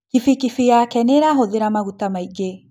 Bikibiki yake nĩĩrahũthĩra maguta maingĩ